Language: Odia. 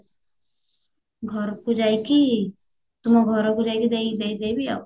ଘରକୁ ଯାଇକି ତୁମ ଘରକୁ ଯାଇକି ଦେଇ ଦେଇଦେବି ଆଉ